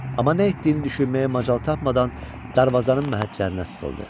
Amma nə etdiyini düşünməyə macal tapmadan darvazanın məhəccərinə sıxıldı.